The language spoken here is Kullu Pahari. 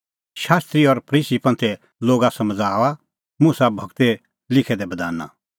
शास्त्री और फरीसी समझ़ाऊआ मुसा गूरै लिखै दै बधाना